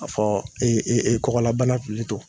A fɔ e e ekɔgɔlabana pilito